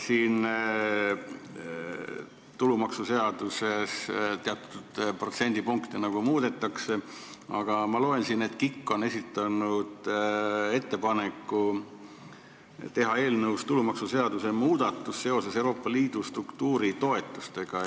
Tulumaksuseaduses muudetakse teatud protsente, aga ma loen siit, et Keskkonnainvesteeringute Keskus on esitanud ettepaneku teha eelnõus tulumaksuseaduse muudatus seoses Euroopa Liidu struktuuritoetustega.